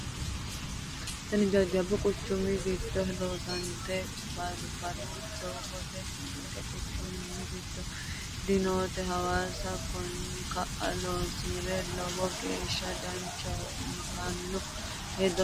Tini jajjabbu quchumi giddoni loonsannite baaburu doogoti, ninke quchumi giddo dinote hawaasa koni ka"a loonsire lowo geeshsha danchaho yittano hexxo nooe.